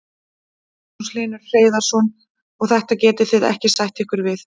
Magnús Hlynur Hreiðarsson: Og þetta getið þið ekki sætt ykkur við?